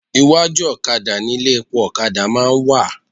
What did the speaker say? Iwájú òkadà ni ilé epo òkadà má a ń wà